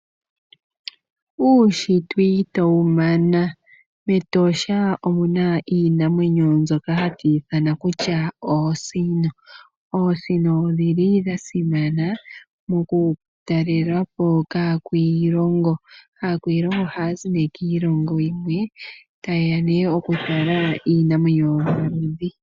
Uushitwe ito wumana mEtosha omuna iinamweyo mbyoka hatu yiithana kutya oosino. Oosino odhili dhasimana mokutalela po kakwiilongo, aakwiilongo ohaya zi ne kiilongo yilwe tayeya okutala iinamwenyo yomaludhi.